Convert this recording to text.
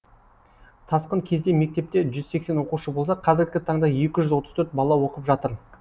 тасқын кезінде мектепте жүз сексен оқушы болса қазіргі таңда екі жүз отыз төрт бала оқып жатыр